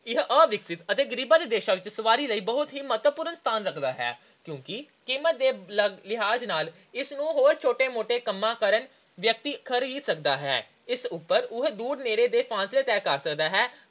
ਇਹ ਅਵਿਕਸਿਤ ਤੇ ਗਰੀਬਾਂ ਦੇ ਦੇਸ਼ਾਂ ਵਿੱਚ ਸਵਾਰੀ ਲਈ ਬਹੁਤ ਹੀ ਮਹੱਤਵਪੂਰਨ ਸਥਾਨ ਰੱਖਦਾ ਹੈ ਕਿਉਂਕਿ ਕੀਮਤ ਦੇ ਲਿਹਾਜ ਨਾਲ ਇਸਨੂੰ ਹਰ ਛੋਟਾ-ਮੋਟਾ ਕੰਮ ਕਰਨ ਵਾਲਾ ਵਿਅਕਤੀ ਖਰੀਦ ਸਕਦਾ ਹੈ। ਇਸ ਉਪਰ ਉਹ ਦੂਰ ਨੇੜੇ ਦੇ ਫਾਸਲੇ ਤੈਅ ਸਕਦਾ ਹੈ।